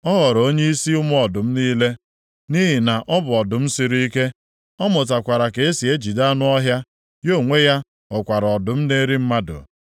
Ọ ghọrọ onyeisi ụmụ ọdụm niile, nʼihi na ọ bụ ọdụm siri ike, ọ mụtakwara ka e si ejide anụ ọhịa, ya onwe ya ghọkwara ọdụm na-eri mmadụ.